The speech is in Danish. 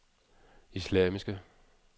islamiske